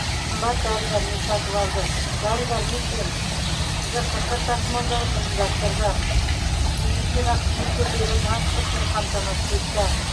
қымбат дәрі дәрмек сатып алды дәрі дәрмек пен жққ тасымалдауды ұйымдастырды медицина қызметкерлері транспортпен қамтамасыз етті